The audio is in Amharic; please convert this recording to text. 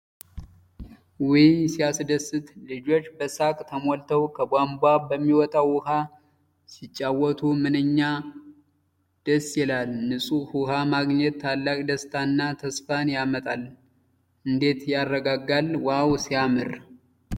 ውይ ሲያስደስት! ልጆች በሳቅ ተሞልተው፣ ከቧንቧ በሚወጣው ውሃ ሲጫወቱ ምንኛ ደስ ይላል! ንፁህ ውኃ ማግኘት ታላቅ ደስታና ተስፋን ያመጣል። እንዴት ያረጋጋል! ዋው ሲያምር!